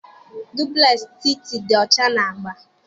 Duplex Titi dị ọcha na agba.